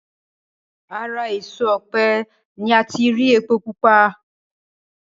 Ara èso ọ̀pẹ ni ati rí epo pupa